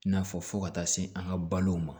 I n'a fɔ fo ka taa se an ka balow ma